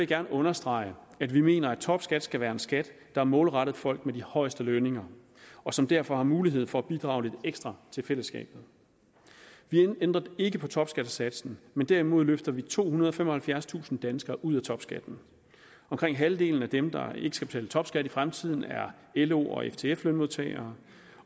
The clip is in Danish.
gerne understrege at vi mener at topskat skal være en skat der er målrettet folk med de højeste lønninger og som derfor har mulighed for at bidrage lidt ekstra til fællesskabet vi ændrer ikke på topskattesatsen men derimod løfter vi tohundrede og femoghalvfjerdstusind danskere ud af topskatten omkring halvdelen af dem der ikke skal betale topskat i fremtiden er lo og ftf lønmodtagere